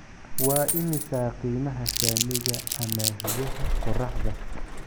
Waa imisa qiimaha saamiga amaahiyaha qoraxda?